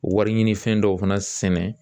Wari ɲini fɛn dɔw fana sɛnɛ